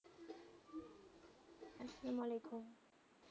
আসালাম ওয়ালিকুম।